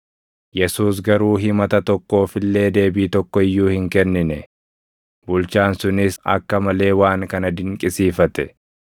Yesuus garuu himata tokkoof illee deebii tokko iyyuu hin kennine; bulchaan sunis akka malee waan kana dinqisiifate.